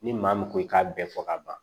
Ni maa min ko i k'a bɛɛ fɔ ka ban